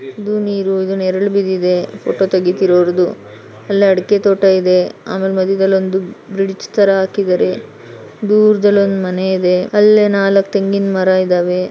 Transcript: ಇದು ನೀರು ಇದು ನೆರಳು ಬಿದ್ದಿದೆ ಫೋಟೋ ತೆಗಿತೀರೋರ್ದು ಅಲ್ಲೆ ಅಡಕೆ ತೋಟ ಇದೆ ಆಮೇಲ್ ಮಧ್ಯದಲ್ಲಿ ಒಂದು ಬ್ರಿಡ್ಜ್ ತರ ಹಾಕಿದ್ದಾರೆ ದೂರದಲ್ಲಿ ಒಂದು ಮನೆ ಇದೆ ಅಲ್ಲೆ ನಾಲಕ್ ತೆಂಗಿನ ಮರ ಇದಾವೆ --